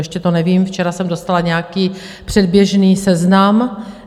Ještě to nevím, včera jsem dostala nějaký předběžný seznam.